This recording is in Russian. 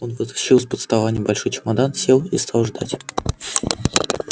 он вытащил из-под стола небольшой чемодан сел и стал ждать